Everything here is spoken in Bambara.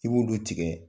I b'olu tigɛ